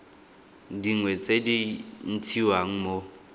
dingwe tse di ntshiwang mo